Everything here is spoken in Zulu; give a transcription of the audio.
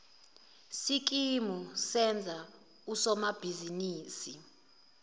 sikimu senza usomabhizinisi